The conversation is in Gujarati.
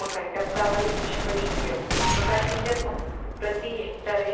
મકાઇ ટપકાંવાળી લશ્કરી ઇયળ પ્રકાશપિંજર પ પ્રતિ હેક્ટરે